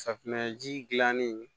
Safunɛji dilanni